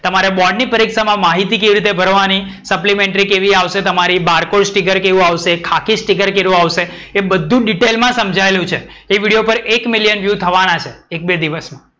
તમારે બોર્ડ ની પરીક્ષામાં માહિતી કેવી રીતે ભરવાની? supplimentary કેવી આવશે તમારી? barcode sticker કેવી આવશે? ખાકી સ્ટિકર કેવું આવશે? એ બધુ ડીટેલ માં સમજાયેલું છે. એ વિડિયો પર એક બે million view થવાના છે એક બે દિવસમાં.